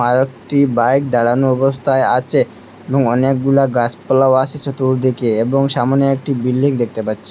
আরো একটি বাইক দাঁড়ানো অবস্থায় আছে এবং অনেকগুলা গাছপালাও আসে চতুর্দিকে এবং সামোনে একটি বিল্ডিং দেখতে পাচ্ছি।